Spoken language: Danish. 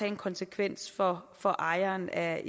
en konsekvens for for ejeren af